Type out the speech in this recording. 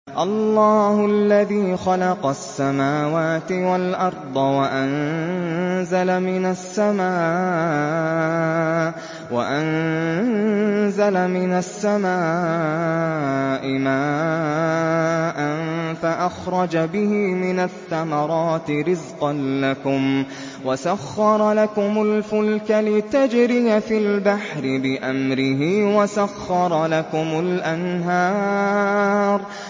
اللَّهُ الَّذِي خَلَقَ السَّمَاوَاتِ وَالْأَرْضَ وَأَنزَلَ مِنَ السَّمَاءِ مَاءً فَأَخْرَجَ بِهِ مِنَ الثَّمَرَاتِ رِزْقًا لَّكُمْ ۖ وَسَخَّرَ لَكُمُ الْفُلْكَ لِتَجْرِيَ فِي الْبَحْرِ بِأَمْرِهِ ۖ وَسَخَّرَ لَكُمُ الْأَنْهَارَ